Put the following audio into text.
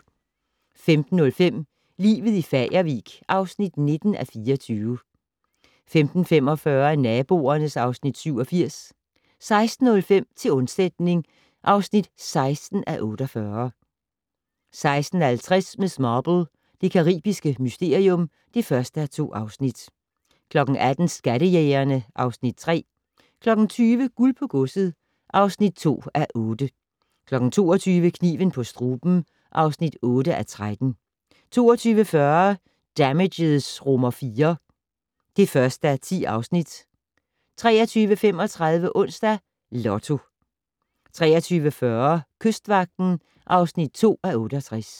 15:05: Livet i Fagervik (19:24) 15:45: Naboerne (Afs. 87) 16:05: Til undsætning (16:48) 16:50: Miss Marple: Det caribiske mysterium (1:2) 18:00: Skattejægerne (Afs. 3) 20:00: Guld på godset (2:8) 22:00: Kniven på struben (8:13) 22:40: Damages IV (1:10) 23:35: Onsdags Lotto 23:40: Kystvagten (2:68)